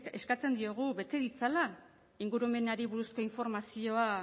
eskatzen diogu bete ditzala ingurumenari buruzko informazioa